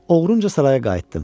Oğrunca saraya qayıtdım.